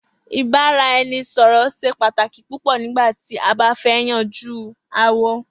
Ìbàrà-e̩ni-sò̩rò̩ s̩e pàtàkì púpò̩ nígbà tí a bá fé̩ yanjú aáwò̩